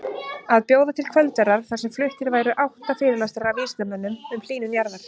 Að bjóða til kvöldverðar þar sem fluttir væru átta fyrirlestrar af vísindamönnum um hlýnun jarðar.